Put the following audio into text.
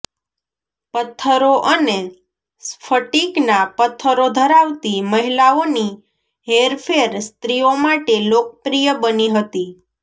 પત્થરો અને સ્ફટિકના પત્થરો ધરાવતી મહિલાઓની હેરફેર સ્ત્રીઓ માટે લોકપ્રિય બની હતી